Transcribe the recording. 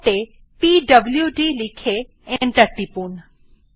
prompt এ পিডব্লুড লিখে এন্টার টিপুন